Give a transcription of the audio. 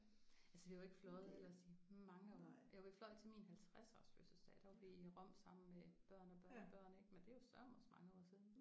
Altså vi har jo ikke fløjet ellers i mange år. Jo vi fløj til min 50-års fødselsdag der var vi i Rom sammen med børn og børnebørn ik men det er jo sørme også mange år siden